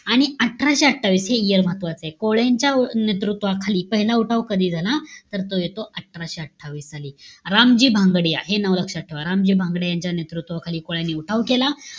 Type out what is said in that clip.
आणि अठराशे अठ्ठावीस, हे year महत्वाचंय. कोळ्यांच्या नेतृत्वाखाली पहिला उठाव कधी झाला? तर, तो येतो अठराशे अठ्ठावीस साली. रामजी भांगडिया हे नाव लक्षात ठेवा. रामजी भांगडिया यांच्या नेतृत्वाखाली कोळ्यांनी पहिला उठाव केला.